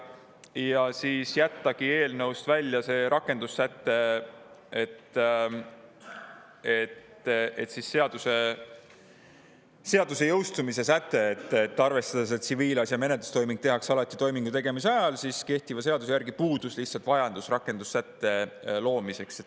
Ja oli jätta eelnõust välja rakendussäte, seaduse jõustumise säte, arvestades, et kehtiva seaduse järgi tehakse tsiviilasja menetlustoiming alati toimingu tegemise ajal, seega lihtsalt puudus vajadus rakendussätet luua.